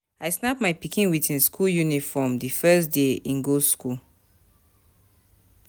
I snap my pikin wit im skool uniform di first day im go skool.